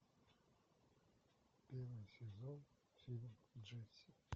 первый сезон фильм джесси